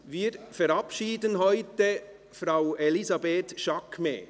Wir verabschieden heute Frau Elisabeth Jaquemet.